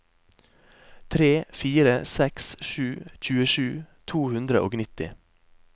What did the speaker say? tre fire seks sju tjuesju to hundre og nitti